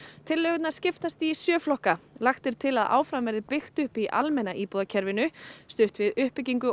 tillögurnar skiptast í sjö flokka lagt er til að áfram verði byggt upp í almenna íbúðakerfinu stutt við uppbyggingu